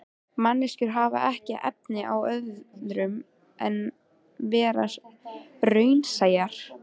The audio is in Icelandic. Manneskjur hafa ekki efni á öðru en vera raunsæjar.